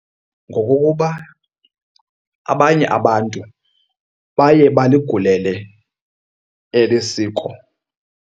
Ngokokuba abanye abantu baye baligulele eli siko.